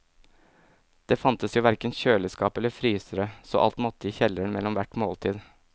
Det fantes jo hverken kjøleskap eller frysere, så alt måtte i kjelleren mellom hvert måltid.